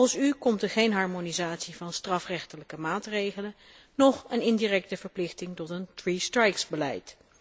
Volgens u komt er geen harmonisatie van strafrechtelijke maatregelen, noch een indirecte verplichting tot een three strikes beleid.